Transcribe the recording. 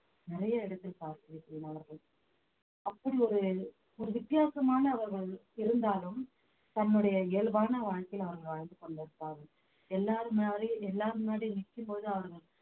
நிறைய இடத்தில் பார்த்திருக்கேன் அவர்கள் அப்படி ஒரு ஒரு வித்தியாசமான ஒரு இருந்தாலும் தன்னுடைய இயல்பான வாழ்க்கை அவர்கள் வாழ்ந்து கொண்டிருப்பார்கள் எல்லார் முன்னாடியும் எல்லார் முன்னாடியும் நிற்கும்போது அவர்கள்